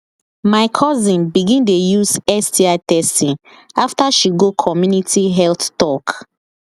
my cousin begin dey use sti testing after she go community health talk